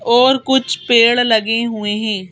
और कुछ पेड़ लगे हुए हैं।